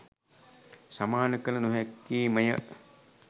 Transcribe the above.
සමාන කළ නොහැක්කේ ම ය.